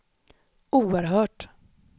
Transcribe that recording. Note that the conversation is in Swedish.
oerhört